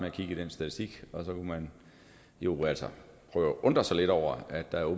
at kigge i den statistik og så kunne man jo altså prøve at undre sig lidt over at der